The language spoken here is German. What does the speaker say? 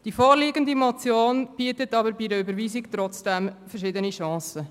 Die vorliegende Motion bietet bei der Überweisung verschiedene Chancen.